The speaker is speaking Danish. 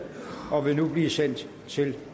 og vil nu blive sendt til